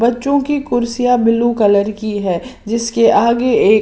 बच्चों की कुर्सियां ब्लू कलर की है जिसके आगे एक--